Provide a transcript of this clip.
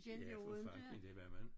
Ja for fanden det var man